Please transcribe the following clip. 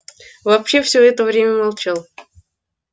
вообще все это время молчал